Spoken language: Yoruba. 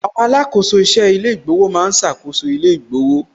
Àwọn alákòóso iṣẹ́ ilé ìgbowó ma ń ṣàkóso ilé ìgbowó